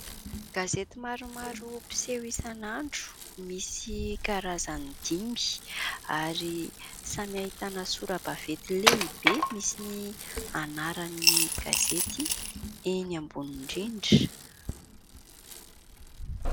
Gazety maromaro piseho isanandro, misy karazany dimy ary samy ahitana sora-baventy lehibe misy ny anaran'ny gazety eny ambony indrindra.